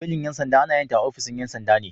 Belin 'yan sanda ana yinta a ofishin 'yan sanda ne.